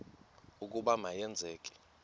ukuba ma yenzeke